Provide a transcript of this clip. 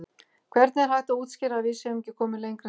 Hvernig er hægt að útskýra að við séum ekki komin lengra en þetta?